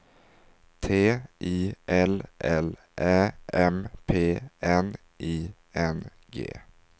T I L L Ä M P N I N G